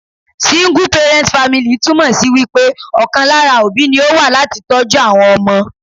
Single parent family ' túmò sí wípé ọ̀kan lára òbí ni ó wà láti tọ́jú àwọn ọmọ